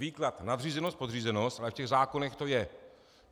Výklad nadřízenost, podřízenost, ale v těch zákonech to je.